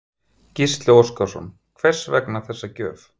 Gísli Óskarsson: Hvers vegna þessi gjöf?